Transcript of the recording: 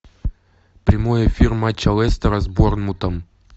прямой эфир матча лестера с борнмутом